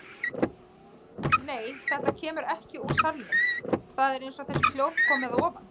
Nei, þetta kemur ekki úr salnum, það er eins og þessi hljóð komi að ofan.